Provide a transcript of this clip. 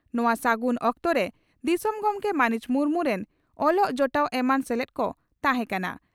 ᱱᱚᱣᱟ ᱥᱟᱹᱜᱩᱱ ᱚᱠᱛᱚᱨᱮ ᱫᱤᱥᱚᱢ ᱜᱚᱢᱠᱮ ᱢᱟᱹᱱᱤᱡ ᱢᱩᱨᱢᱩ ᱨᱤᱱ ᱚᱞᱚᱜ ᱡᱚᱴᱟᱣ ᱮᱢᱟᱱ ᱥᱮᱞᱮᱫ ᱠᱚ ᱛᱟᱦᱮᱸ ᱠᱟᱱᱟ ᱾